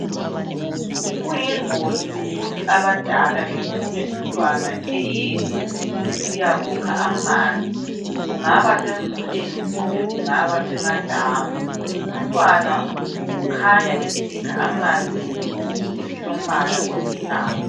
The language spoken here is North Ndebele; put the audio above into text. Kuyingozi ukuthi abadala bethume umntwana eyedwa esiyakukha amanzi kungaba semfuleni kumbe kungaba semadamu umntwana ukhanya esikha amanzi ngesigubhu esilombala olithanga